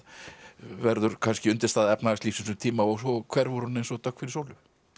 verður kannski undirstaða efnahagslífsins um tíma og svo hverfur hún eins og dögg fyrir sólu